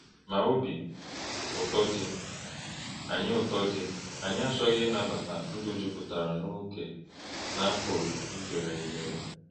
Ma obi ụtọ dị, anyị ụtọ dị, anyị achọghị ịnabata ndụ juputara n’ókè na-apụghị izere ezere.